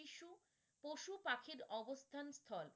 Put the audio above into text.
পশু পাখির অবস্থান হয়